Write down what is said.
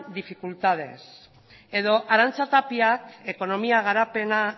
dificultades edo arantxa tapiak ekonomia